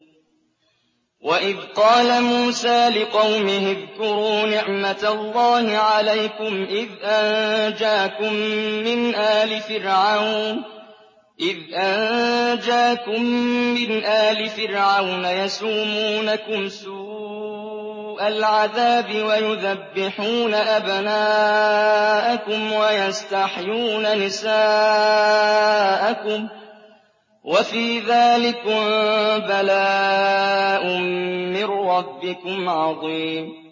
وَإِذْ قَالَ مُوسَىٰ لِقَوْمِهِ اذْكُرُوا نِعْمَةَ اللَّهِ عَلَيْكُمْ إِذْ أَنجَاكُم مِّنْ آلِ فِرْعَوْنَ يَسُومُونَكُمْ سُوءَ الْعَذَابِ وَيُذَبِّحُونَ أَبْنَاءَكُمْ وَيَسْتَحْيُونَ نِسَاءَكُمْ ۚ وَفِي ذَٰلِكُم بَلَاءٌ مِّن رَّبِّكُمْ عَظِيمٌ